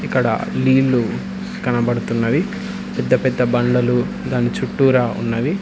ఎక్కడ నీళ్లు కనబడుతున్నయి పెద్ద పెద్ద బండలు దాని చుట్టూరా ఉన్నవి.